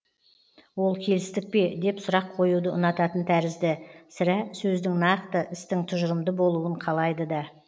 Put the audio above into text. ол келістік пе деп сұрақ қоюды ұнататын тәрізді сірә сөздің нақты істің тұжырымды болуын қалайды да